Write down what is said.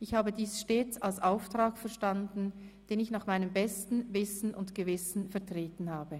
Ich habe dies stets als Auftrag verstanden, den ich nach meinem besten Wissen und Gewissen vertreten habe.